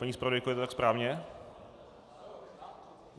Paní zpravodajko, je to tak správně?